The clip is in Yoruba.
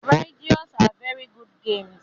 Riddles are very good games